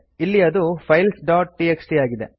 ಇಲ್ಲಿ ಅದು files dot TXT ಆಗಿದೆ